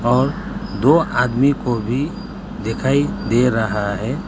और दो आदमी को भी दिखाई दे रहा है।